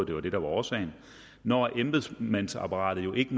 det var det der var årsagen når embedsmandsapparatet jo ikke